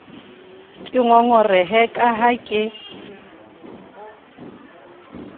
ke ngongorehe ka ha ke